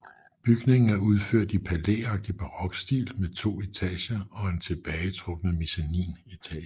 Bygningen er udført i palæagtig barokstil med to etager og en tilbagetrukket mezzaninetage